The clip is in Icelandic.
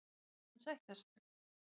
Og nú vill hann sættast?